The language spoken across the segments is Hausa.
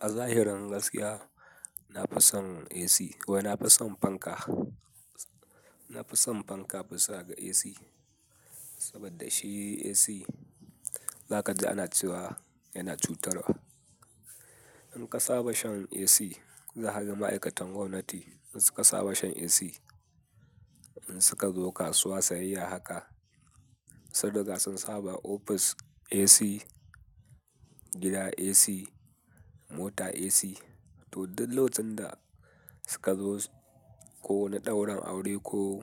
A zahirin gaskiya, na fi son AC ko na fi son fanka. Na fi son fanka bisa ga AC. Saboda shi AC, za ka ji ana ciwa, yana cutarwa. In ka saba shan AC, za ka ga ma'aikatan gwamnati in suka saba shan AC, in suka zo kasuwa sayayya haka, saboda gasan saba ofis AC, gida AC, mota AC to duk lokacin da suka zo ko na daurin aure ko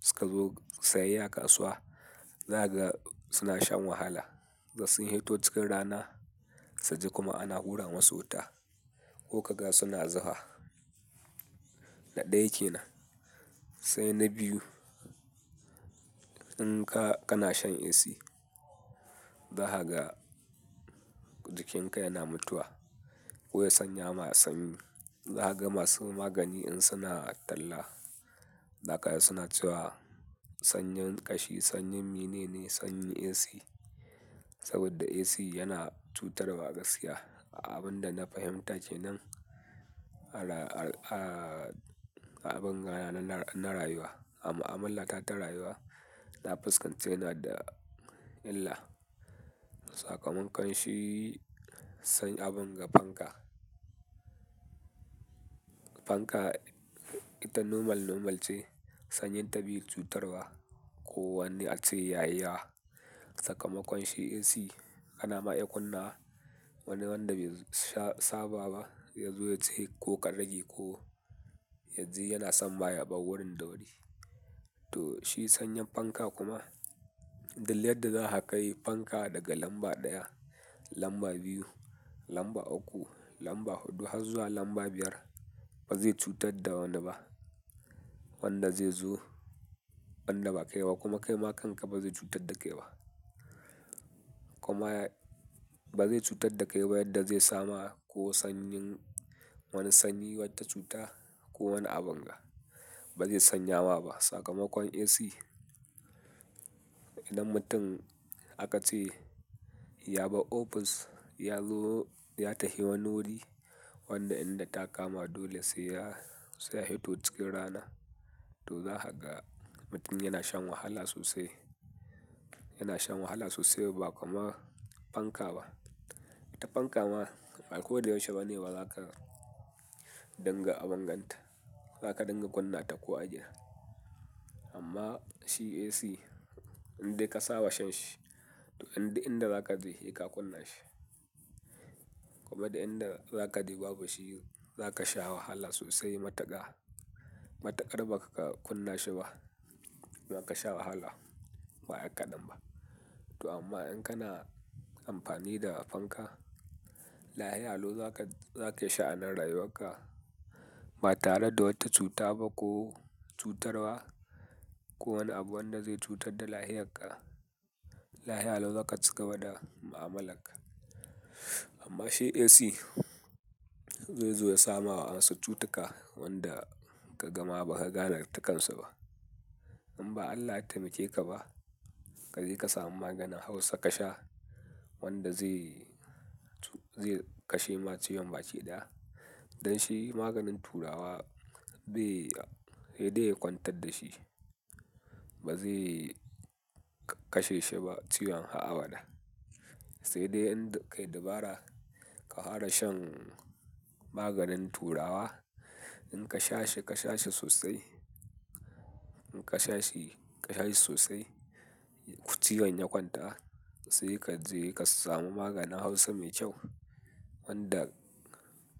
suka zo sayayya kasuwa, za ka ga suna shan wahala. Da sun haito cikin rana, sai ji kuma ana hura masu wuta ko ka ga suna zuha. Na ɗaya kenan. Sai na biyu, in ka, kana shan AC, za ka ga jikinka yana mutuwa. Ko ya sanya ma sanyi, za ka ga masu magani in suna talla, za ka ga suna cewa sanyin ƙashi, sanyin mene ne, sanyi AC. Saboda AC yana cutarwa gaskiya. Abin da na fahimta kenan, a ra-- a abin rana na rayuwa, a mu'amala ta rayuwa, na fuskanci yana da illar. Sakamakon shi, sanya abin ga fanka. Fanka, ita nomal, nomal ce. Sanyin ta bai cutarwa ko wani ace yayi ya. Sakamakon shi AC, kana ma iya kunna wani wanda bai saba ba, ya zo ya je ko ka rage ko yanzu yana son ma ya bar wurin da wuri. To shi sanyin fanka kuma, duk yadda za ka yi fanka daga lamba ɗaya, lamba biyu, lamba uku, lamba huɗu har zuwa lamba biyar, ba zai cutar da wani ba. Wanda zai zo, ban da ba kai ba kuma kai ma kanka ba zai cutar da kai ba. Kuma ba zai cutar da kai ba yadda zai sama ko sanyin wani sanyi wata cuta ko wani abin ga, ba zai sanya wa ba. Sakamakon AC, idan mutum aka ce ya bar ofis, ya zo ya tafi wanuri, wanda inda ta kama dole sai ya, sai ya hito cikin rana. To za ka ga mutum yana shan wahala sosai, yana shan wahala sosai ba kama fanka ba. Ita fanka ma akwai dayashe bane ba za ka dinga abin ganta. Za ka dinga kunna ta ko a ina. Amma shi AC, in dai ka saba shan shi, to in dai inda za ka je, kai ka kunna shi. Kuma da inda za ka je babu shi, za ka sha wahala sosai mataka. Matukar ba ka kunna shi ba, za ka sha wahala. Ba kaɗan ba. To amma in kana amfani da fanka, lafiya lau za ka, za ka sha'anar rayuwar ka. Ba tare da wata cuta ba ko cutarwa ko wani abu wanda zai cutar da lafiya ka. Lafiya lau za ka ci gaba da mu'amala ka. Amma shi AC, zai zo ya sama ma wasu cutuka wanda ka gama ba ka gane ra'nitin kan sa ba. In ba Allah ya taimake ka ba, ka je ka samu maganin Hausa ka sha wanda zai, zai kashe ma ciwon baci ɗaya. Dan shi maganin turawa bai, sai dai ya kwantar da shi. Ba zai kashe shi ba ciwon a'a bana. Sai dai in dai ka yi dabara ka fara shan maganin turawa. In ka sha shi, ka sha shi sosai. In ka sha shi, ka sha shi sosai, ko ciwon ya kwanta. Sai ka je ka samu maganin Hausa mai kyau. Wanda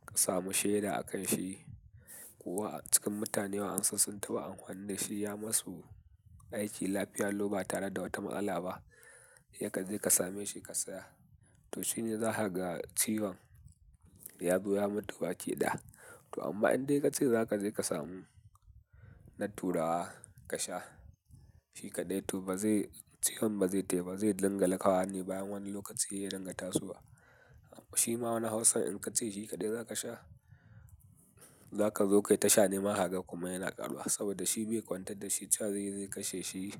ka samu shaida a kan shi. Ko a cikin mutane wa ansa sun taɓa amfani da shi ya masu aiki lafiyar lau ba tare da wata matsala ba. Yai ka je ka same shi ka saya. To shine za ka ga ciwon ya zo ya mutu baci ɗaya. To amma in dai ka ce za ka je ka samu na turawa ka sha shi kaɗai, to ba zai, ciwon ba zai taɓa zai dinga laka wani bayan wani lokaci ya dinga tasowa. Shi ma wani Hausan in ka ce shi kaɗai za ka sha, za ka zo kai ta sha nema haka kuma yana ƙaruwa. Saboda shi bai kwantar da shi cha zai zai kashe shi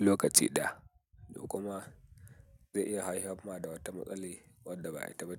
lokaci ɗaya. To kuma zai iya haifar ma da wata matsali wadda ba a yi tambaya.